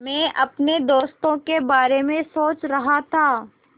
मैं अपने दोस्तों के बारे में सोच रहा था